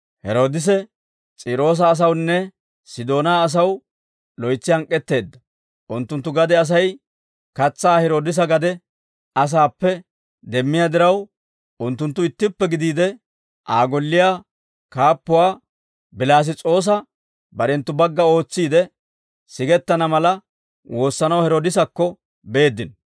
Heroodise S'iiroosa asawunne Sidoonaa asaw loytsi hank'k'etteedda; unttunttu gade Asay katsaa Heroodisa gade asaappe demmiyaa diraw, unttunttu ittippe gidiide, Aa golliyaa kaappuwaa Bilass's'oosa barenttu bagga ootsiide, sigettana mala woossanaw Heeroodisakko beeddino.